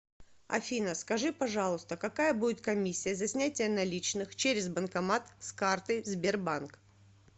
афина скажи пожалуйста какая будет комиссия за снятие наличных через банкомат с карты сбербанк